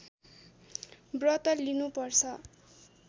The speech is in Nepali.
व्रत लिनु पर्छ